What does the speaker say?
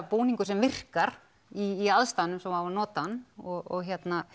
búningur sem virkar í aðstæðunum sem á að nota hann og og